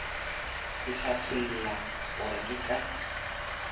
se hlatholla gore ke ka